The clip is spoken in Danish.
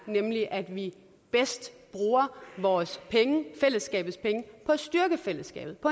nemlig at vi bedst bruger vores penge fællesskabets penge på at styrke fællesskabet og